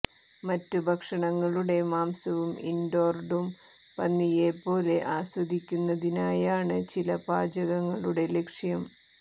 മറ്റു ഭക്ഷണങ്ങളുടെ മാംസവും ഇൻഡോർഡും പന്നിയെപ്പോലെ ആസ്വദിക്കുന്നതിനായാണ് ചില പാചകങ്ങളുടെ ലക്ഷ്യം